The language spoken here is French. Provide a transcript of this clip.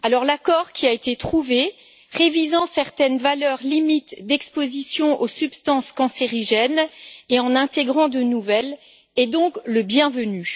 L'accord trouvé, qui révise certaines valeurs limites d'exposition aux substances cancérigènes et en intègre de nouvelles, est donc le bienvenu.